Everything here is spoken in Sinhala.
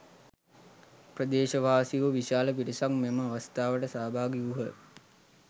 ප්‍රදේශවාසීහු විශාල පිරිසක් මෙම අවස්ථාවට සහභාගී වූහ